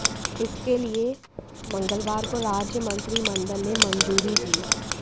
इसके लिए मंगलवार को राज्य मंत्रिमंडल ने मंजूरी दी